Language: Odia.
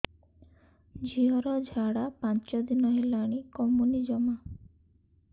ଝିଅର ଝାଡା ପାଞ୍ଚ ଦିନ ହେଲାଣି କମୁନି ଜମା